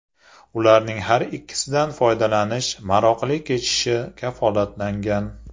Ularning har ikkisidan foydalanish maroqli kechishi kafolatlangan.